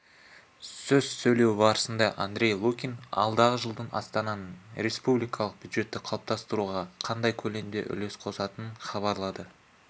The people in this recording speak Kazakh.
сөз сөйлеу барысында андрей лукин алдағы жылы астананың республикалық бюджетті қалыптастыруға қандай көлемде үлес қосатынын хабарлады